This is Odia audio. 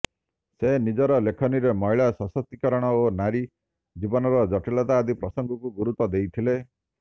ସେ ନିଜର ଲେଖନୀରେ ମହିଳା ସଶକ୍ତିକରଣ ଓ ନାରୀ ଜୀବନର ଜଟିଳତା ଆଦି ପ୍ରସଙ୍ଗକୁ ଗୁରୁତ୍ୱ ଦେଇଥିଲେ